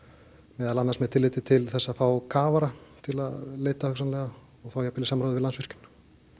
meðal annars með tilliti til þess að fá kafara til að leita hugsanlega og þá jafnvel í samræði við Landsvirkjun